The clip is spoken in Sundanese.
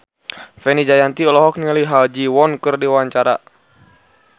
Fenita Jayanti olohok ningali Ha Ji Won keur diwawancara